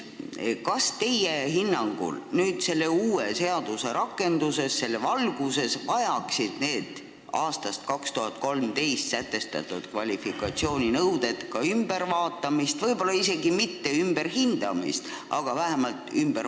Kas teie hinnangul tuleks uue seaduse rakendamise korral need aastal 2013 sätestatud kvalifikatsiooninõuded uuesti läbi vaadata?